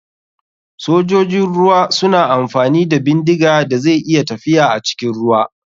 Sojojin ruwa suna amfani da bindiga da zai iya tafiya acikin ruwa.